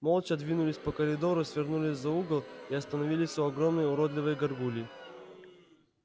молча двинулись по коридору свернули за угол и остановились у огромной уродливой гаргульи